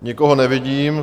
Nikoho nevidím.